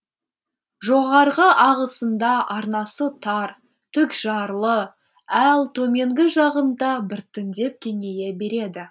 жоғарғы ағысында арнасы тар тік жарлы ал төменгі жағында біртіндеп кеңейе береді